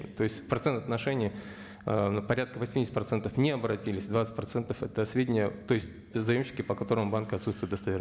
то есть процент отношений ыыы порядка восьмидесяти процентов не обратились двадцать процентов это сведения то есть заемщики по которым в банке отсутствует